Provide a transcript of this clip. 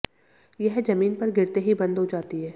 यह जमीन पर गिरते ही बंद हो जाती है